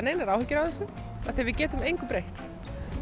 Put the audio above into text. engar áhyggjur af þessu því við getum engu breytt